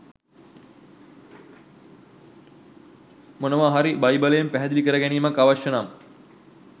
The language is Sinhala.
මොනවා හරි බයිබලයෙන් පැහැදිලි කර ගැනීමක් අවශ්‍ය නම්